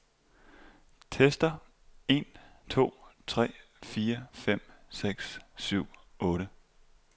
Tester en to tre fire fem seks syv otte.